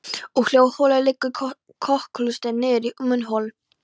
Úr hljóðholi liggur kokhlustin niður í munnhol.